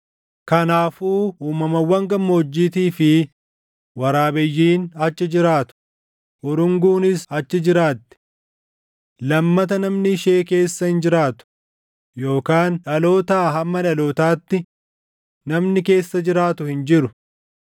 “Kanaafuu uumamawwan gammoojjiitii fi // waraabeyyiin achi jiraatu; urunguunis achi jiraatti. Lammata namni ishee keessa hin jiraatu; yookaan dhalootaa hamma dhalootaatti // namni keessa jiraatu hin jiru.